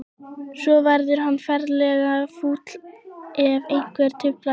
Svo verður hann ferlega fúll ef einhver truflar hann.